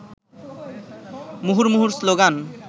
মুহুর্মুহু স্লোগান